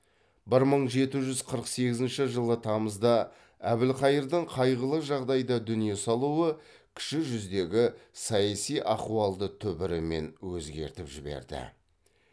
бір мың жеті жүз қырық сегізінші жылы тамызда әбілқайырдың қайғылы жағдайда дүние салуы кіші жүздегі саяси ахуалды түбірімен өзгертіп жіберді